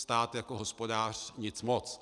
Stát jako hospodář nic moc.